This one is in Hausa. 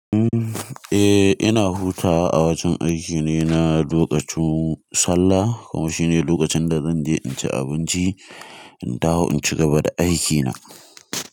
Eh ina hutawa a wajan aiki ne, na lokacin sallah kuma shine lokacin da zanje in ci abinci in dawo in cigaba da aikina.